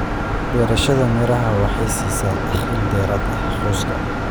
Beerashada miraha waxay siisaa dakhli dheeraad ah qoyska.